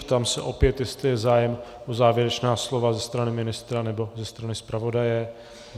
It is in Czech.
Ptám se opět, jestli je zájem o závěrečná slova ze strany ministra nebo ze strany zpravodaje.